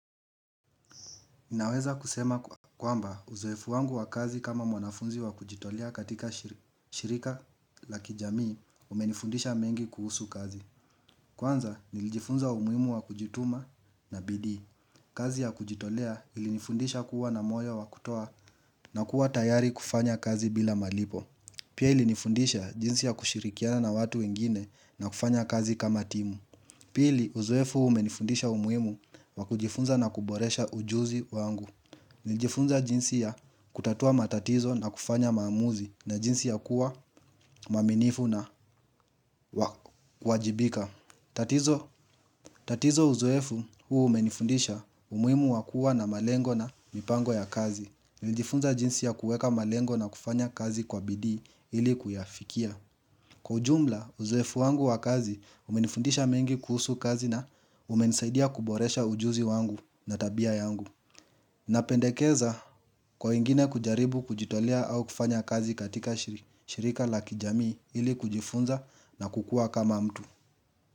Naweza kusema kwamba uzoefu wangu wa kazi kama mwanafunzi wa kujitolea katika shirika la kijamii umenifundisha mengi kuhusu kazi. Kwanza nilijifunza umuhimu wa kujituma na bidii. Kazi ya kujitolea ilinifundisha kuwa na moyo wa kutoa na kuwa tayari kufanya kazi bila malipo. Pia ilinifundisha jinsi ya kushirikiana na watu wengine na kufanya kazi kama timu. Pili uzwefu umenifundisha umuimu wa kujifunza na kuboresha ujuzi wangu. Nilijifunza jinsi ya kutatua matatizo na kufanya maamuzi na jinsi ya kuwa mwaminifu na wajibika tatizo uzoefu huu umenifundisha umuhimu wakua na malengo na mipango ya kazi Nilijifunza jinsi ya kueka malengo na kufanya kazi kwa bidi ili kuyafikia Kwa ujumla uzoefu wangu wa kazi umenifundisha mengi kuhusu kazi na umenisaidia kuboresha ujuzi wangu na tabia yangu napendekeza kwa wengine kujaribu kujitolia au kufanya kazi katika shirika la kijamii ili kujifunza na kukua kama mtu.